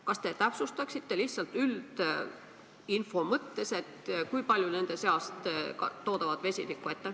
Kas te täpsustaksite lihtsalt üldinfo mõttes, kui paljud nendest toodavad vesinikku?